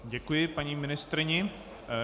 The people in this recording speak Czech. Děkuji paní ministryni.